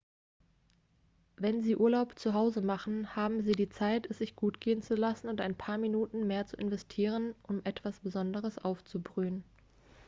wenn sie urlaub zu hause machen haben sie die zeit es sich gut gehen zu lassen und ein paar minuten mehr zu investieren um etwas besonderes aufzubrühen